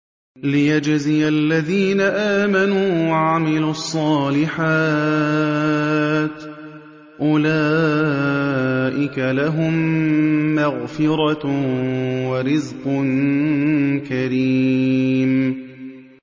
لِّيَجْزِيَ الَّذِينَ آمَنُوا وَعَمِلُوا الصَّالِحَاتِ ۚ أُولَٰئِكَ لَهُم مَّغْفِرَةٌ وَرِزْقٌ كَرِيمٌ